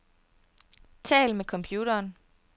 Tal med computeren.